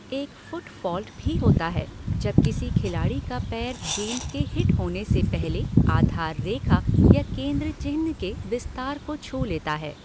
एक 'foot fault' भी होता है जब किसी खिलाड़ी का पैर गेंद के हिट होने से पहले आधार रेखा या केंद्र चिह्न के विस्तार को छू लेता है।